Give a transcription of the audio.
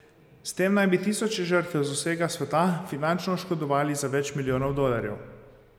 S tem naj bi tisoče žrtev z vsega sveta finančno oškodovali za več milijonov dolarjev.